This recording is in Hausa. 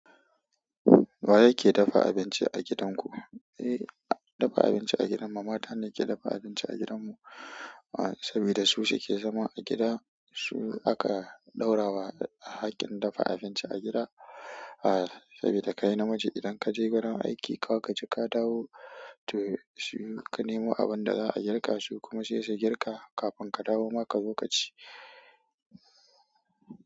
Wa yake dafa abinci a gidanku? Eh, dafa abinci a gidan mu mata ne ke dafa abinci a gidan mu. Ah, saboda su suke zama a gida, su aka ɗaura wa haƙƙin dafa abinci a gida. Ah, saboda kai namiji idan kaje wurin aiki, ka gaji ka dawo to shi ka nemo abin da za a girka su kuma sai su girka. Kafin ka dawo ma ka zo ka ci.